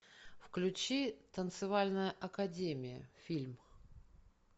включи танцевальная академия фильм